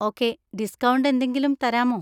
Okay, discount എന്തെങ്കിലും തരാമോ?